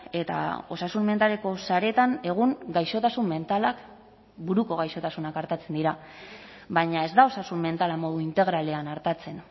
eta osasun mentaleko saretan egun gaixotasun mentalak buruko gaixotasunak artatzen dira baina ez da osasun mentala modu integralean artatzen